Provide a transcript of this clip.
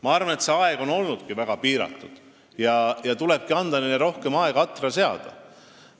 Ma arvan, et see aeg on olnud piiratud ja neile tuleb adra seadmiseks rohkem aega anda.